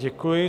Děkuji.